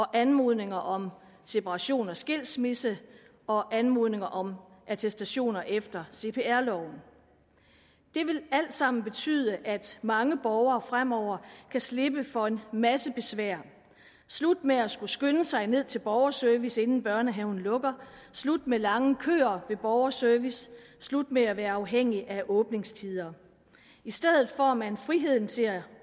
anmodninger om separation og skilsmisse og anmodninger om attestationer efter cpr loven det vil alt sammen betyde at mange borgere fremover kan slippe for en masse besvær slut med at skulle skynde sig ned til borgerservice inden børnehaven lukker slut med lange køer ved borgerservice slut med at være afhængig af åbningstider i stedet får man friheden til at